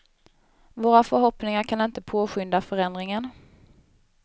Våra förhoppningar kan inte påskynda förändringen.